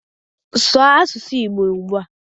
Sụụ asụsụ igbo ugbua